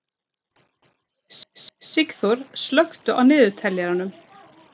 Sigþór, slökktu á niðurteljaranum.